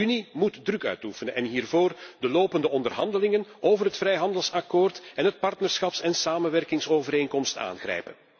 De Unie moet druk uitoefenen en hiervoor de lopende onderhandelingen over het vrijhandelsakkoord en de partnerschaps en samenwerkingsovereenkomst aangrijpen.